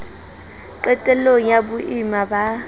qetel long ya boimana ba